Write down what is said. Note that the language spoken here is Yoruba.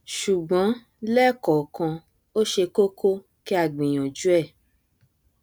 ṣùgbọn lẹẹkọọkan ó ṣe kókó kí a gbìyànjú ẹ